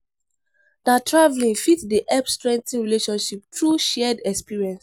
Na traveling fit dey help strengthen relationship through shared experience.